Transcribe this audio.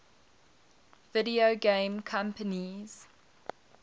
video game companies